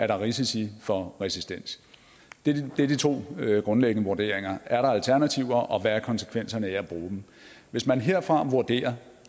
der er risici for resistens det er de to grundlæggende vurderinger er der alternativer og hvad er konsekvenserne af at bruge dem hvis man herfra vurderer